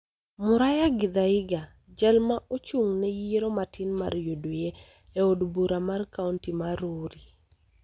Muraya Githaiga, jal ma ochung� ne yiero matin mar UDA e od bura mar kaonti mar Rurii